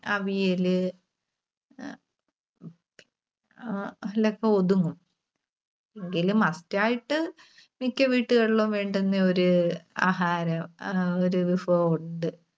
അവിയല് അഹ് ആ അതിൽ ഒക്കെ ഒതുങ്ങും. എങ്കിലും must ആയിട്ട് മിക്ക വീട്ടുകളിലും വേണ്ടുന്ന ഒരു ആഹാരം ആഹ് ഒരു